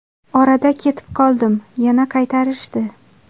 Orada ketib qoldim, yana qaytarishdi.